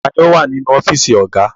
Ta ni ó wà nínú ọ́fíísì ọ̀gá?